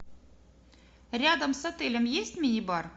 рядом с отелем есть мини бар